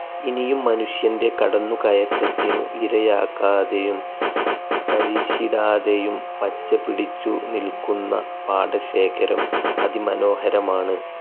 ഇനിയും മനുഷ്യൻ്റെ കടന്നു കയറ്റത്തിനു ഇരയാക്കാതെയും തരിശിടാതെയും പച്ച പിടിച്ചു നിൽക്കുന്ന പാടശേഖരം അതി മനോഹരമാണ്.